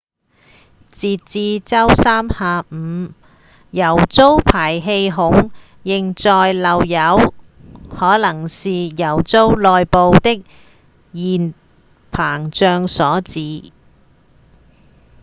截至週三下午油槽排氣孔仍在漏油可能是油槽內部的熱膨脹所致